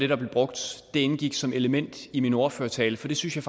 der blev brugt indgik som element i min ordførertale for det synes jeg